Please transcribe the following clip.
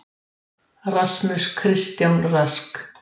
Sex vöðvar tengjast hvoru auga og stjórna hreyfingum þess.